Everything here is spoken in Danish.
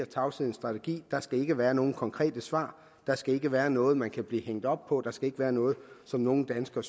tavshedens strategi der skal ikke være nogen konkrete svar der skal ikke være noget man kan blive hængt op på der skal ikke være noget som nogle danskere